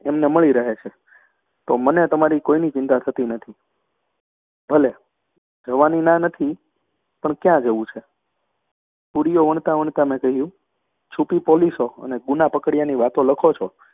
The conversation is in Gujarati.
એમને મળી રહે છે. તો મને તમારી કોઈની ચિંતા થતી નથી. ભલે, જવાની ના નથી, પણ ક્યાં જવું છે? પૂરીઓ વણતાં વણતાં મેં કહ્યું છૂપી પોલીસો અને ગુના પકડ્યાની વાતો લખો છો